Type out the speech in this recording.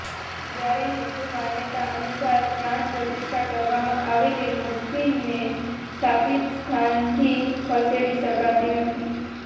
જ્યારે હિન્દુ માન્યતા અનુસાર પ્રાણ પ્રતિષ્ઠા કરવામાં આવેલી મૂર્તિને સ્થાપિત સ્થાનથી ખસેડી શકાતી નથી